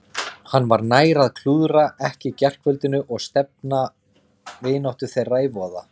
Henni var nær að klúðra ekki gærkvöldinu og stefna vináttu þeirra í voða.